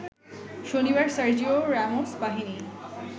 শনিবার Sergio Ramos বাহিনী